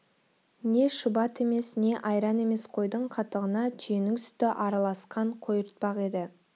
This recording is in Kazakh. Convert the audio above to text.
не шұбат емес не айран емес қойдың қатығына түйенің сүті араласқан қойыртпақ еді